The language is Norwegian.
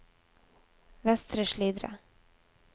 Vestre Slidre